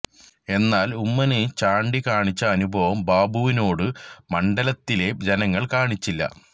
എന്നാല് ഉമ്മന് ചാണ്ടി കാണിച്ച അനുഭാവം ബാബുവിനോട് മണ്ഡലത്തിലെ ജനങ്ങള് കാണിച്ചില്ല